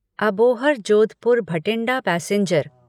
Abohar Jodhpur Bathinda passenger